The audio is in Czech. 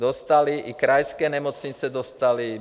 Dostaly i krajské nemocnice, dostaly.